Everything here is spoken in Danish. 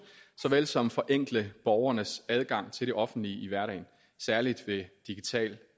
såvel som forenkle borgernes adgang til det offentlige i hverdagen særlig ved digital